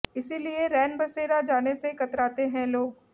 इसलिए रैन बसेरा जाने से कतराते हैं लोग